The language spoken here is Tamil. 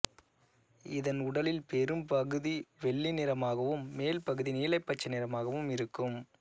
இதன் உடலில் பெரும்பகுதி வெள்ளி நிறமாகவும் மேல் பகுதி நீலபச்சை நிறமாகவும் இருக்கும்